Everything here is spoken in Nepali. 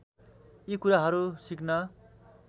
यी कुराहरू सिक्न